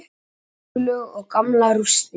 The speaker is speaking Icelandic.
Gjóskulög og gamlar rústir.